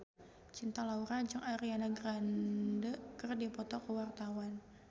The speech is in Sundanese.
Cinta Laura jeung Ariana Grande keur dipoto ku wartawan